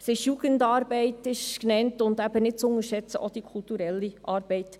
Es wird Jugendarbeit geleistet, und, nicht zu unterschätzen, kulturelle Arbeit.